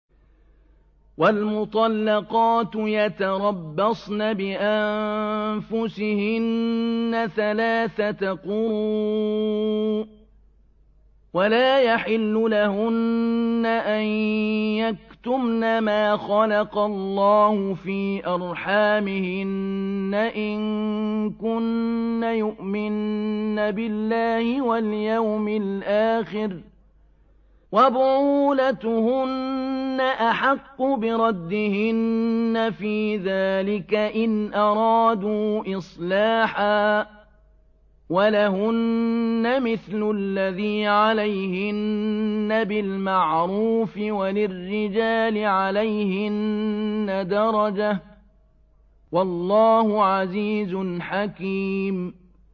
وَالْمُطَلَّقَاتُ يَتَرَبَّصْنَ بِأَنفُسِهِنَّ ثَلَاثَةَ قُرُوءٍ ۚ وَلَا يَحِلُّ لَهُنَّ أَن يَكْتُمْنَ مَا خَلَقَ اللَّهُ فِي أَرْحَامِهِنَّ إِن كُنَّ يُؤْمِنَّ بِاللَّهِ وَالْيَوْمِ الْآخِرِ ۚ وَبُعُولَتُهُنَّ أَحَقُّ بِرَدِّهِنَّ فِي ذَٰلِكَ إِنْ أَرَادُوا إِصْلَاحًا ۚ وَلَهُنَّ مِثْلُ الَّذِي عَلَيْهِنَّ بِالْمَعْرُوفِ ۚ وَلِلرِّجَالِ عَلَيْهِنَّ دَرَجَةٌ ۗ وَاللَّهُ عَزِيزٌ حَكِيمٌ